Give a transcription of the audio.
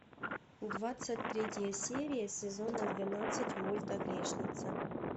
двадцать третья серия сезона двенадцать мульта грешница